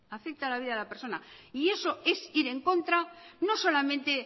afecta a la vida de la persona y eso es ir en contra no solamente